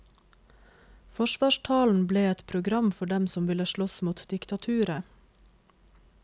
Forsvarstalen ble et program for dem som ville slåss mot diktaturet.